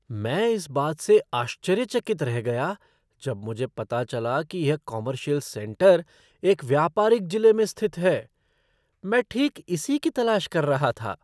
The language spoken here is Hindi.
मैं इस बात से आश्चर्यचकित रह गया जब मुझे पता चला कि यह कॉमर्शियल सेंटर एक व्यापारिक जिले में स्थित है। मैं ठीक इसी की तलाश कर रहा था।